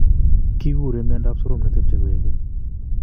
Kikure miondop sorom netepche koekeny